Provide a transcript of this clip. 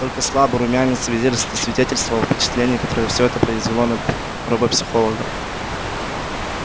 только слабый румянец свидетельствовал о впечатлении которое все это произвело на робопсихолога